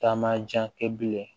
Taama jan kɛ bilen